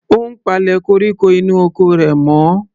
Ó ń palẹ̀ koríko inú oko rẹ̀ mọ́.